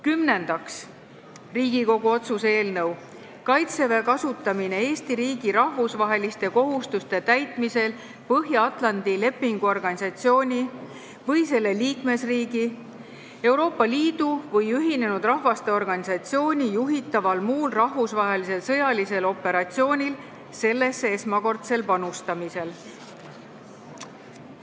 Kümnendaks, Riigikogu otsuse "Kaitseväe kasutamine Eesti riigi rahvusvaheliste kohustuste täitmisel Põhja-Atlandi Lepingu Organisatsiooni või selle liikmesriigi, Euroopa Liidu või Ühinenud Rahvaste Organisatsiooni juhitaval muul rahvusvahelisel sõjalisel operatsioonil sellesse esmakordsel panustamisel" eelnõu.